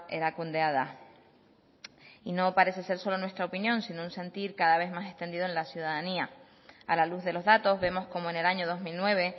erakundea da y no parece ser solo en nuestra opinión sino en un sentir cada vez más sentido en la ciudadanía a la luz de los datos vemos como en el año dos mil nueve